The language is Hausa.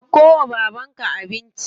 Dauko wa babanka abinci.